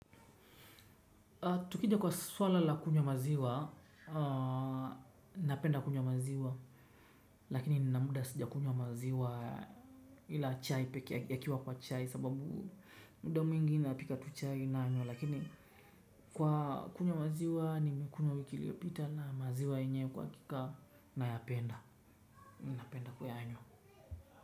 Tukija kwa swala la kunywa maziwa, napenda kunywa maziwa, lakini nina muda sijakunywa maziwa ila chai pekee, yakiwa kwa chai sababu muda mwingi napika tu chai nanywa, lakini kwa kunywa maziwa nimekunywa wiki iliopita na maziwa yenye kwa hakika na napenda, napenda kuyanywa.